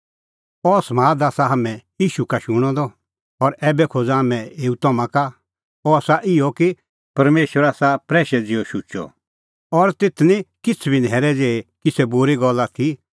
अह समाद आसा हाम्हैं ईशू का शूणअ द और ऐबै खोज़ा हाम्हैं एऊ तम्हां का अह आसा इहअ कि परमेशर आसा प्रैशै ज़िहअ शुचअ और तेथ निं किछ़ बी न्हैरै ज़ेही किछ़ै बूरी गल्ल आथी